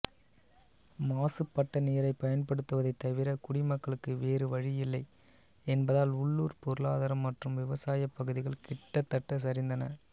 மாசுபட்ட நீரைப் பயன்படுத்துவதைத் தவிர குடிமக்களுக்கு வேறு வழியில்லை என்பதால் உள்ளூர் பொருளாதாரம் மற்றும் விவசாயப் பகுதிகள் கிட்டத்தட்ட சரிந்தன